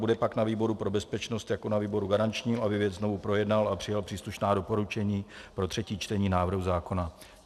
Bude pak na výboru pro bezpečnost jako na výboru garančním, aby věc znovu projednal a přijal příslušná doporučení pro třetí čtení návrhu zákona.